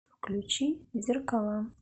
включи зеркала